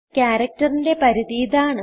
Characterന്റെ പരിധി ഇതാണ്